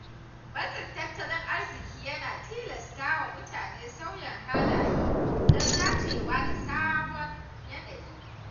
Matsin tattalin arziki yana tilasta wa mutane sauya halaye don dacewa da sabon yanayi.